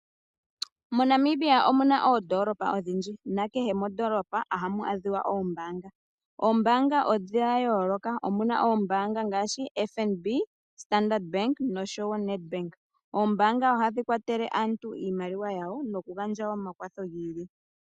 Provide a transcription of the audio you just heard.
MoNamibia omuna oondoolopa odhindji, nakehe mondoolopa ohamu adhika oombaanga. Oombaanga odha yooloka, muna ombaanga ngaashi FNB, Standard Bank noshowo Nedbank. Oombaanga ohadhi kwatele aantu iimaliwa yawo, nokugandja wo omakwatho gi ili.